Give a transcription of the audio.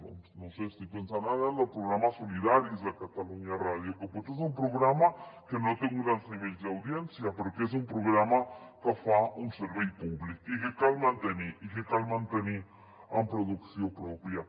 doncs no ho sé estic pensant ara en el programa solidaris de catalunya ràdio que potser és un programa que no té uns grans nivells d’audiència però que és un programa que fa un servei públic i que cal mantenir i que cal mantenir amb producció pròpia